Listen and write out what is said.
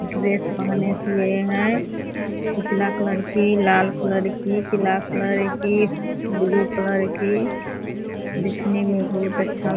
dress पहने हुए हैं उजला कलर के लाल कलर के पीला कलर के ब्लू कलर के दिखने में बहुत अच्छा --